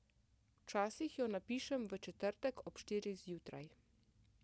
Včasih jo napišem v četrtek ob štirih zjutraj.